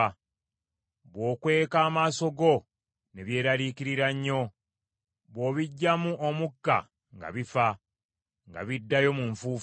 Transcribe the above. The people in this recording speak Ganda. Bw’okweka amaaso go ne byeraliikirira nnyo; bw’obiggyamu omukka nga bifa, nga biddayo mu nfuufu.